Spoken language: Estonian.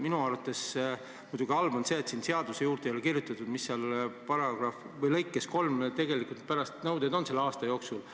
Minu arvates on muidugi halb see, et siia seadusesse ei ole kirjutatud, mis nõuded lõike 3 järgi tegelikult selle aasta jooksul on.